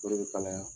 O de bɛ kalaya